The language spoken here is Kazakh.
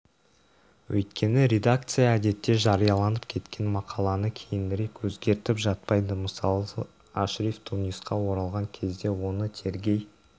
өйткені редакция әдетте жарияланып кеткен мақаланы кейінірек өзгертіп жатпайды мысалы ашриф тунисқа оралған кезде оны тергей